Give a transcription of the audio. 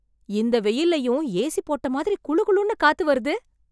இந்த வெயில்லயும் A C போட்ட மாதிரி குளு குளுன்னு காத்துவருது.